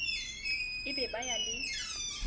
e be ba ya le